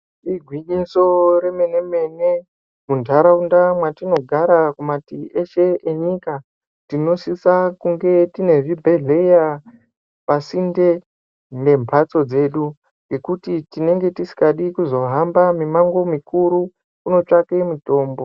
Igwinyiso remene-mene, muntaraunda mwatinogara kumatii eshe nyika, tinosisa kunge tine zvibhedhleya pasinde nemphatso dzedu, nekuti tinenge tisikadi kuzohamba mimango mikuru, kuzotsvake mitombo.